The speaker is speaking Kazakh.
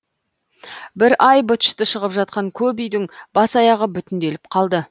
бір ай быт шыты шығып жатқан көп үйдің бас аяғы бүтінделіп қалды